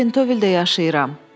Özüm də Pentovildə yaşayıram.